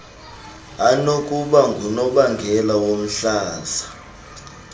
anokuba ngunobangela womhlaza